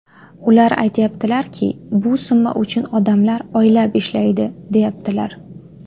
Ular aytyaptilarki, ‘bu summa uchun odamlar oylab ishlaydi’, deyaptilar.